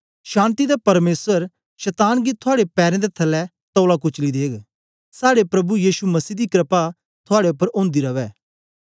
शान्ति दा परमेसर शतान गी थुआड़े पैरें दे थल्लै तौला कुचली देग साड़े प्रभु यीशु मसीह दी क्रपा थुआड़े उपर ओंदी रवै